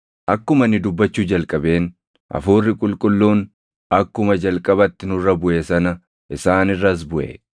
“Akkuma ani dubbachuu jalqabeen, Hafuurri Qulqulluun akkuma jalqabatti nurra buʼe sana isaan irras buʼe.